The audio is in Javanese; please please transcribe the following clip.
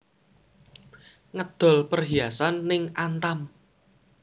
Ngedol perhiasaan ning Antam